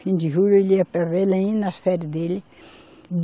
Fim de julho ele ia para Belém, nas férias dele.